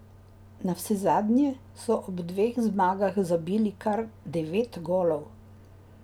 Navsezadnje so ob dveh zmagah zabili kar devet golov.